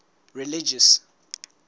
religious